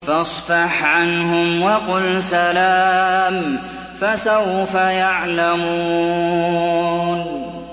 فَاصْفَحْ عَنْهُمْ وَقُلْ سَلَامٌ ۚ فَسَوْفَ يَعْلَمُونَ